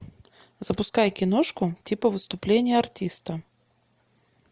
запускай киношку типа выступление артиста